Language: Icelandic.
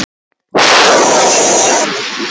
Þetta fór vel af stað.